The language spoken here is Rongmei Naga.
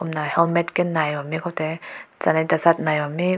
kumna helmet ke nai bam meh kow te tsalat bam meh.